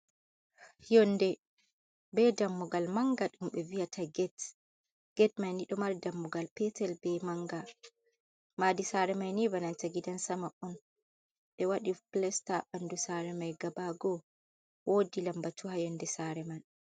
Yonde be dammugal manga ɗum be vi'ata get. Get mai ni ɗomari dammugal petel be manga. ma'di sare mai ni bananta gidan sama on. Ɓe waɗi plasta ɓanɗu sare mai gabago'o, wodi lambatu ha yonde sare man.